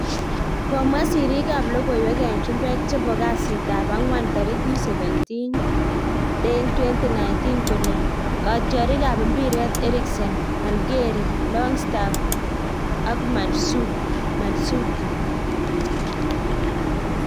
Komwa siriik ab lokoiwek en chumbek chepo kasit ab ang'wan tarikit 17.10.2019 kole katyarik ab mpiret; Eriksen, Allgeri, Longstaff, Mandzukic